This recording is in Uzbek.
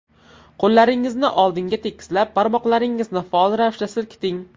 Qo‘llaringizni oldinga tekislab, barmoqlaringizni faol ravishda silkiting.